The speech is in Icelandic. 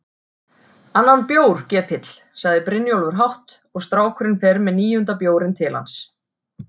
Annan bjór, gepill, segir Brynjólfur hátt og strákurinn fer með níunda bjórinn til hans.